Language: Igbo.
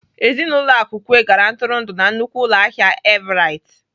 Ezinaụlọ Akukwe gara ntụrụndụ na nnukwu ụlọahịa Everite.